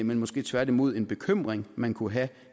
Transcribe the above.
men måske tværtimod en bekymring man kunne have